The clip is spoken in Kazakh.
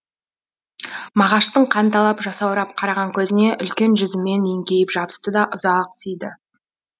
мағаштың қанталап жасаурап қараған көзіне үлкен жүзімен еңкейіп жабысты да ұзақ сүйді